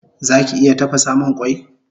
Zaki iya tafasamun mun kwai?